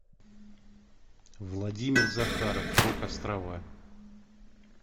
владимир захаров рок острова